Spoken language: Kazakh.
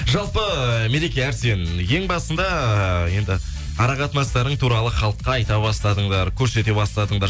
жалпы мереке әрсен ең басында енді ара қатынастарың туралы халыққа айта бастадыңдар көрсете бастадыңдар